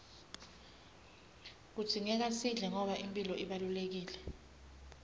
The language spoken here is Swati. kudzingeka sidle ngoba imphilo ibalulekile